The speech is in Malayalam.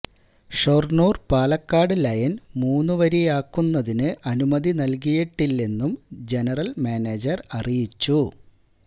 ഷൊര്ണൂര് പാലക്കാട് ലൈന് മൂന്നുവരിയാക്കുന്നതിന് അനുമതി നല്കിയിട്ടില്ലെന്നും ജനറല് മാനേജര് അറിയിച്ചു